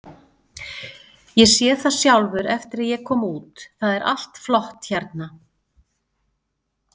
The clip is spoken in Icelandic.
Ég sé það sjálfur eftir að ég kom út, það er allt flott hérna.